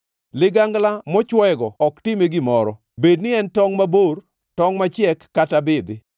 Ligangla mochwoego ok time gimoro, bedni en tongʼ mabor, tongʼ machiek, kata bidhi.